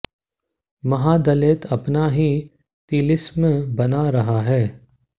महादलित अपना ही तिलिस्म बना रहा है